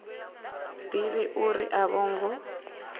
ḓivhi uri a vho ngo